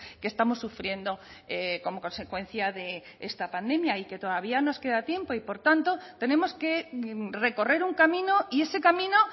que estamos sufriendo como consecuencia de esta pandemia y que todavía nos queda tiempo y por tanto tenemos que recorrer un camino y ese camino